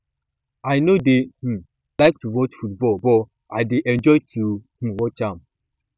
i no dey um like to watch football but i dey enjoy to um watch am